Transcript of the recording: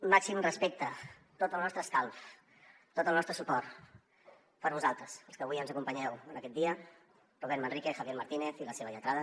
màxim respecte tot el nostre escalf tot el nostre suport per a vosaltres els que avui ens acompanyeu en aquest dia robert manrique javier martínez i la seva lletrada